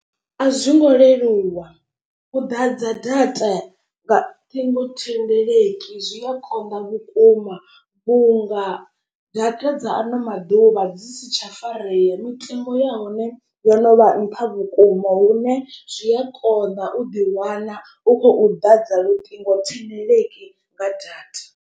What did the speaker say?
A zwi ngo leluwa u ḓadza data nga ṱhingo thendeleki zwi a konḓa vhukuma vhunga data dza ano maḓuvha dzi si tsha farea mitengo ya hone. Yo no vha nṱha vhukuma lune zwi a kona u ḓi wana u khou ḓadza luṱingo thendeleki nga data.